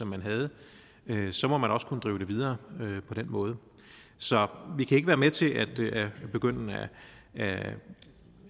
man havde så må man også kunne drive det videre på den måde så vi kan ikke være med til at begynde at